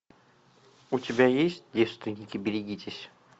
у тебя есть девственники берегитесь